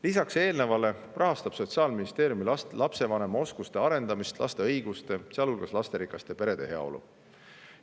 Lisaks eelnevale rahastab Sotsiaalministeerium lapsevanema oskuste arendamist ning laste õiguste, sealhulgas lasterikaste perede heaolu,.